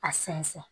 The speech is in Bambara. A sɛnsɛn